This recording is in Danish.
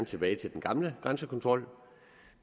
tilbage til den gamle grænsekontrol